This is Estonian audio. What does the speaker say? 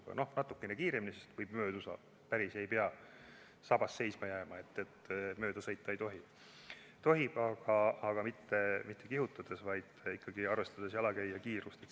Noh, võib sõita natukene kiiremini, võib mööduda, ei pea päris sabas seisma jääma, et mööda sõita ei tohi, tohib, aga mitte kihutades, vaid ikkagi arvestades jalakäija kiirust.